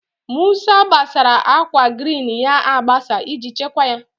Musa gbasara akwa grin ya agbasa iji chekwa ha.